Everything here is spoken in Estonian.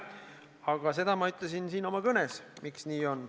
Aga seda ma ütlesin siin oma kõnes, miks nii on.